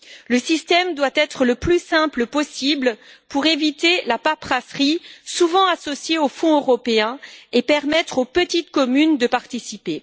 Le système doit être le plus simple possible pour éviter la paperasserie souvent associée aux fonds européens et permettre aux petites communes de participer.